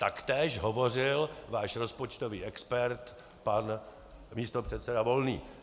Tak též hovořil váš rozpočtový expert, pan místopředseda Volný.